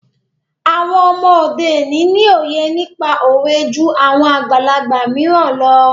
Àwọn ọmọ òde òní ni òye nípa òwe jú àwọn àgbàlagbà mìíràn lọ.